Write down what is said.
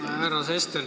Hea härra Sester!